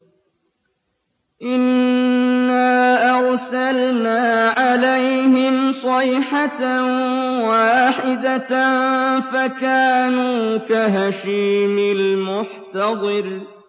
إِنَّا أَرْسَلْنَا عَلَيْهِمْ صَيْحَةً وَاحِدَةً فَكَانُوا كَهَشِيمِ الْمُحْتَظِرِ